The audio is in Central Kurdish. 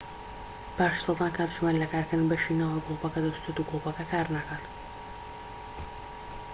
پاش سەدان کاتژمێر لە کارکردن بەشی ناوەوەی گلۆپەکە دەسوتێت و گلۆپەکە کارناکات